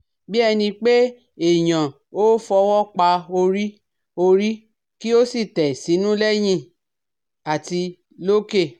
Bí ẹni pé èèyàn ó fọwọ́ pa orí orí kí ó sì tẹ̀ sínú lẹ́yìn àti lókè